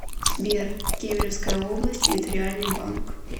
сбер кемеровская область территориальный банк